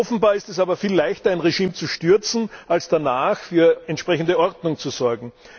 Offenbar ist es aber viel leichter, ein Regime zu stürzen, als danach für entsprechende Ordnung zu sorgen.